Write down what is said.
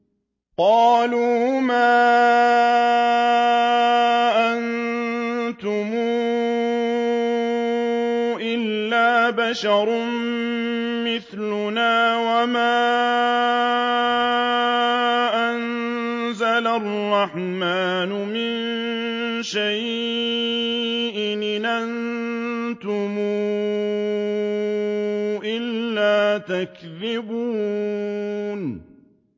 قَالُوا مَا أَنتُمْ إِلَّا بَشَرٌ مِّثْلُنَا وَمَا أَنزَلَ الرَّحْمَٰنُ مِن شَيْءٍ إِنْ أَنتُمْ إِلَّا تَكْذِبُونَ